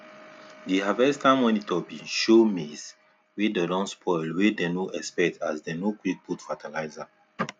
the harvester monitor been show maize wey don spoil wey dey no expect as dem no quick put fertilizer